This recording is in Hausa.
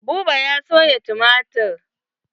Buba ya soya tumatir.